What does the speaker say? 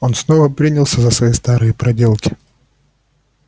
он снова принялся за свои старые проделки